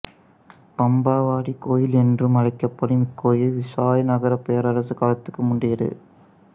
பம்பாவதி கோயில் என்றும் அழைக்கப்படும் இக்கோயில் விசயநகரப் பேரரசு காலத்துக்கும் முந்தையது